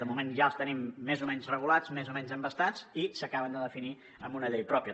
de moment ja els tenim més o menys regulats més o menys embastats i s’acaben de definir amb una llei pròpia